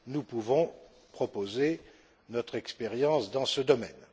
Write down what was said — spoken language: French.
Nous pouvons proposer notre expérience dans ce domaine.